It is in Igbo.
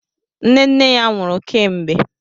Nne nne ya nwụrụ kemgbe.